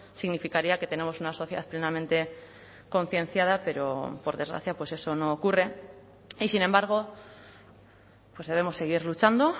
significaría que tenemos una sociedad plenamente concienciada pero por desgracia pues eso no ocurre y sin embargo pues debemos seguir luchando